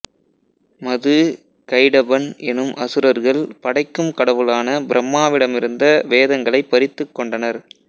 மது கைடபன் எனும் அசுரர்கள் படைக்கும் கடவுளான பிரம்மாவிடமிருந்த வேதங்களை பறித்துக் கொண்டனர்